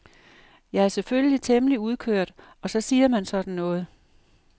Jeg er selvfølgelig temmelig udkørt og så siger man sådan noget.